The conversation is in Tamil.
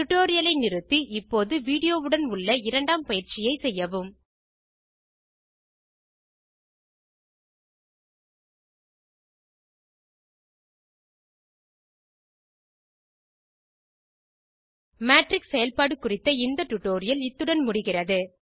டியூட்டோரியல் ஐ நிறுத்தி இப்போது வீடியோ உடன் உள்ள இரண்டாம் பயிற்சியை செய்யவும் மேட்ரிக்ஸ் செயல்பாடு குறித்த இந்த டியூட்டோரியல் இத்துடன் முடிகிறது